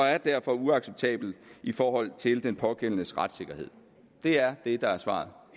er derfor uacceptabelt i forhold til den pågældendes retssikkerhed det er det der er svaret